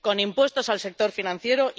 con impuestos al sector financiero